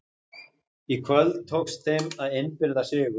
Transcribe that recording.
Í kvöld tókst þeim að innbyrða sigur.